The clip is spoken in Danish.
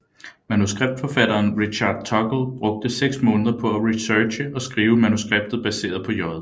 Manuskriptforfatteren Richard Tuggle brugte seks måneder på at researche og skrive manuskriptet baseret på J